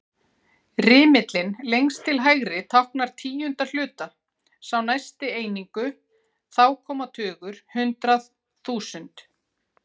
Rimillinn lengst til hægri táknar tíundu hluta, sá næsti einingu, þá koma tugur, hundrað, þúsund.